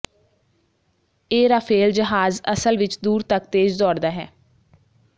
ਇਹ ਰਾਫ਼ੇਲ ਜਹਾਜ਼ ਅਸਲ ਵਿਚ ਦੂਰ ਤਕ ਤੇਜ਼ ਦੌੜਦਾ ਹੈ